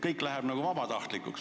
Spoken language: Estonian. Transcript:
Kõik muutub vabatahtlikuks.